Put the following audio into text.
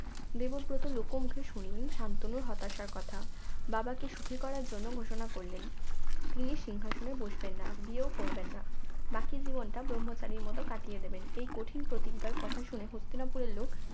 দেবব্রত লোকমুখে শুনলেন সান্তনুর হতাশার কথা বাবাকে সুখী করার জন্য ঘোষণা করলেন তিনি সিংহাসনে বসবেন না বিয়ে ও করবেন না বাকি জীবনটা ব্রহ্মচারীর মতো কাটিয়ে দেবেন এই কঠিন প্রতিজ্ঞার কথা শুনে হস্তিনাপুরের লোক